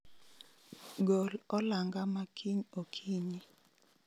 Gol olanga makiny okinyi